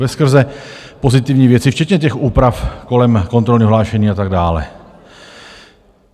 Veskrze pozitivní věci, včetně těch úprav kolem kontrolního hlášení a tak dále.